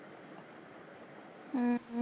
ਆਹ